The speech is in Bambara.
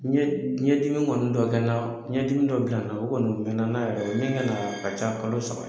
Ɲɛ ɲɛ dimi kɔni dɔ kɛ n na, ɲɛ dimi dɔ kɔni bila n na, o kɔni mɛɛnna n'a yɛrɛ o ye min kɛ n na o ka ca nin kalo saba ye.